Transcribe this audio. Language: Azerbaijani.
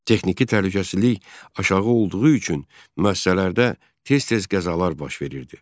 Texniki təhlükəsizlik aşağı olduğu üçün müəssisələrdə tez-tez qəzalar baş verirdi.